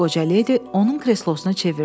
Qoca ledi onun kreslosunu çevirdi.